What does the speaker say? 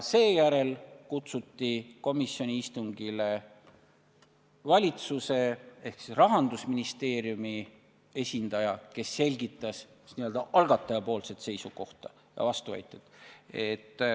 Seejärel kutsuti komisjoni istungile valitsuse ehk Rahandusministeeriumi esindaja, kes selgitas n-ö algataja seisukohta ja vastuväiteid.